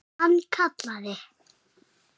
Hann kallaði